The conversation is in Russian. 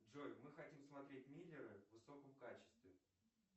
джой мы хотим смотреть миллеры в высоком качестве